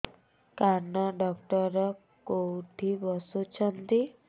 କାନ ଡକ୍ଟର କୋଉଠି ବସୁଛନ୍ତି